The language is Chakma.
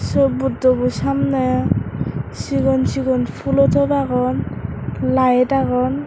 se buddobo samney sigon sigon poolo top agon light agon.